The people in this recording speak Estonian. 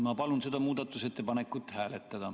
Ma palun seda muudatusettepanekut hääletada.